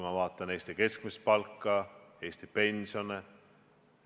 Ma vaatan Eesti keskmist palka, Eesti pensione.